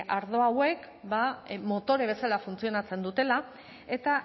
ardo hauek ba motore bezala funtzionatzen dutela eta